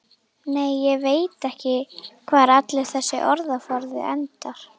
Nei, ég veit ekki hvar allur þessi orðaforði endar.